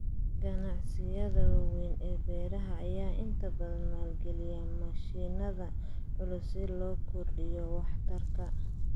Ganacsiyada waaweyn ee beeraha ayaa inta badan maalgeliya mashiinada culus si loo kordhiyo waxtarka.